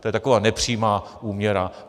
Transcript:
To je taková nepřímá úměra.